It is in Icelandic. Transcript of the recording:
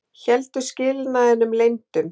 Héldu skilnaðinum leyndum